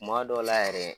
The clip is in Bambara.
Kuma dɔw la yɛrɛ